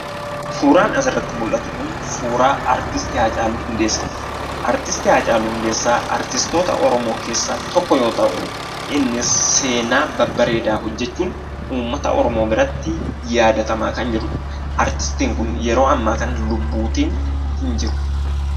Suuraan asirratti mul'atu kun suuraa artist Haacaaluu Hundeessaadha. Artistii Hacaaluu Hundeessaa artistoota oromoo keessaa tokko yoo ta'uu , innis seenaa babbareedaa hojjachuun uummata oromoo biratti yaadatamaa kan jirudha. Artistiin kun yeroo ammaa kana lubbuun hin jiru.